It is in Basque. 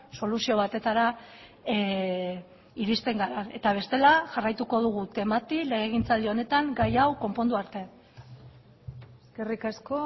soluzio batetara irizten gara eta bestela jarraituko dugu temati legegintzaldi honetan gai hau konpondu arte eskerrik asko